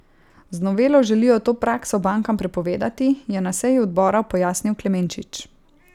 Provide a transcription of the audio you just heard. Z novelo želijo to prakso bankam prepovedati, je na seji odbora pojasnil Klemenčič.